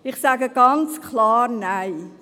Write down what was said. – Ich sage ganz klar Nein.